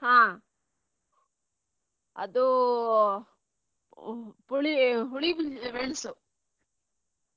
ಹಾ ಅದೂ ಪುಳಿ ಹುಳಿ ಮುಂ~ ಮೆಣಸು.